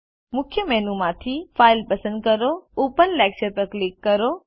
મુખ્ય મેનુ માંથી ફાઇલ પસંદ કરો ઓપન લેક્ચર પર ક્લિક કરો